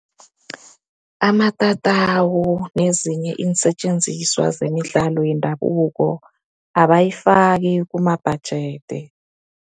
Amatatawu nezinye iinsetjenziswa zemidlalo yendabuko abayifaki kumabhajede.